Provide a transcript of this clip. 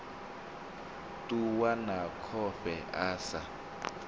ṱuwa na khofhe a sa